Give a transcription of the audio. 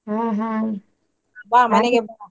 ಹಾ ಹಾ, .